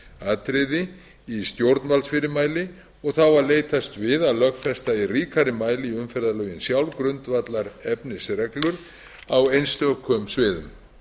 atriði í stjórnvaldsfyrirmæli og þá að leitast við að lögfesta í ríkari mæli í umferðarlögin sjálf grundvallarefnisreglur á einstökum sviðum